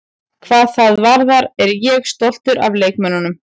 Hvað það varðar er ég stoltur af leikmönnunum.